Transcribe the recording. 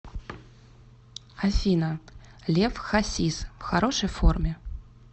афина лев хасис в хорошей форме